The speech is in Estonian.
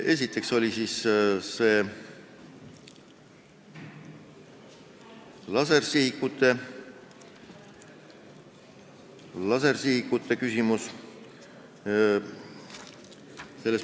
Esiteks oli kõne all lasersihikute küsimus.